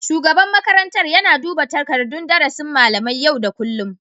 Shugaban makarantar yana duba takardun darasin malamai yau da kullum